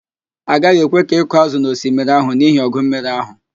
A gaghị ekwe ka ị kụọ ázụ̀ n'osmiri ahụ n'ihi ọgụ mmiri ahụ